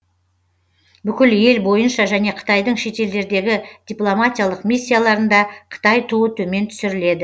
бүкіл ел бойынша және қытайдың шетелдердегі дипломатиялық миссияларында қытай туы төмен түсіріледі